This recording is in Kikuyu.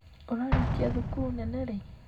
Ũrarĩkia thukuru nene rĩ?